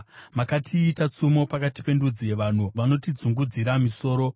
Makatiita tsumo pakati pendudzi; vanhu vanotidzungudzira misoro.